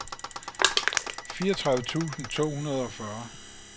fireogtredive tusind to hundrede og fyrre